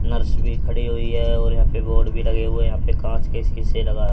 nurse भी खड़ी हुई है और यहां पे बोर्ड भी लगे हुए यहां पे कांच के शीशे लगा--